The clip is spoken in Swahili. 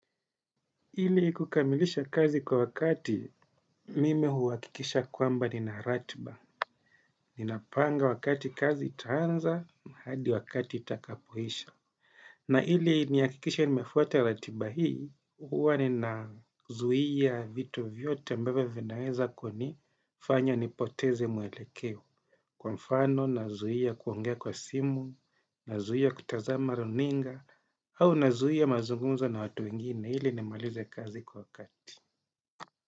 Ili kukamilisha kazi kwa wakati mimi huhakikisha kwamba nina ratiba. Ninapanga wakati kazi itaanza hadi wakati itakapoisha. Na ili nihakikishe nimefuata ratiba hii, huwa ninazuia vitu vyote ambavyo vinaweza kunifanya nipoteze mwelekeo. Kwa mfano nazuia kuongea kwa simu, nazuia kutazama runinga, au nazuia mazungumzo na watu wengine ili nimalize kazi kwa wakati.